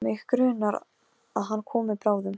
Tói, hvaða stoppistöð er næst mér?